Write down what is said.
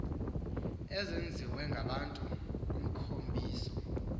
ezenziwe ngabantu emkhubiso